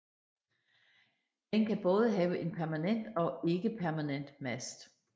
Den kan både have en permanent og en ikke permanent mast